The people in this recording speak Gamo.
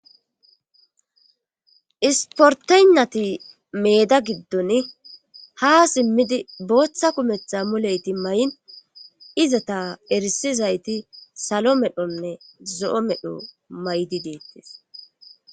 Isportonati meeda giddon ha simmidi booththa kumetha muleyti may'n izata erisizayti salo medhonne zo'o medho maydi deettes